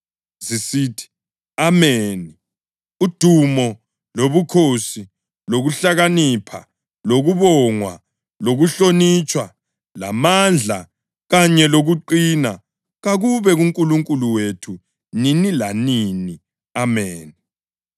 zisithi: “Ameni! Udumo lobukhosi lokuhlakanipha lokubongwa lokuhlonitshwa lamandla kanye lokuqina kakube kuNkulunkulu wethu nini lanini. Ameni!”